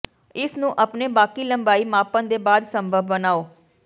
ਇਸ ਨੂੰ ਆਪਣੇ ਬਾਕੀ ਲੰਬਾਈ ਮਾਪਣ ਦੇ ਬਾਅਦ ਸੰਭਵ ਬਣਾਉ